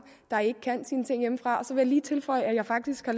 der ikke kan sine ting hjemmefra så vil jeg lige tilføje at jeg faktisk har